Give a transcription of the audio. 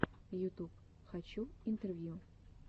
ютуб хочу интервью